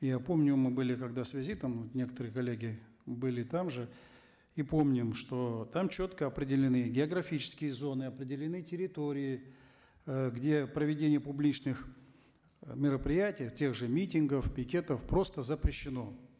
я помню мы были когда с визитом некоторые коллеги были там же и помним что там четко определены географические зоны определены территории э где проведение публичных э мероприятий тех же митингов пикетов просто запрещено